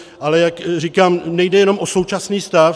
Ale jak říkám, nejde jenom o současný stav.